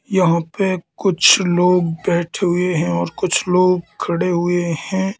यहां पे कुछ लोग बैठे हुए हैं और कुछ लोग खड़े हुए हैं।